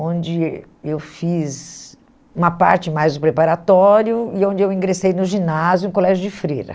onde eu fiz uma parte mais do preparatório e onde eu ingressei no ginásio, no Colégio de Freira.